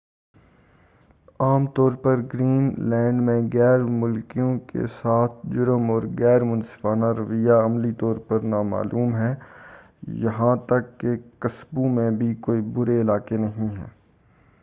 عام طور پر گرین لینڈ میں غیر ملکیوں کے ساتھ، جرم، اور ‏غیر منصفانہ رویہ، عملی طور پر نامعلوم ہے۔ یہاں تک کہ قصبوں میں بھی، کوئی برے علاقے نہیں ہیں۔